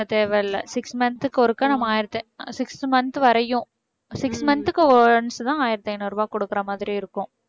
தேவையில்லை six month க்கு ஒருக்கா நம்ம ஆயிரத்து~ six month வரையும் six month க்கு once தான் ஆயிரத்து ஐநூறு ரூபாய் கொடுக்குற மாதிரி இருக்கும்